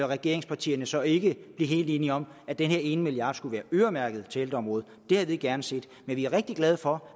regeringspartierne så ikke blive helt enige om at den her ene milliard skulle være øremærket til ældreområdet det havde vi gerne set men vi er rigtig glade for